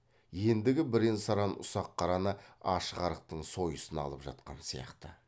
ендігі бірен саран ұсақ қараны аш арықтың сойысына алып жатқан сияқты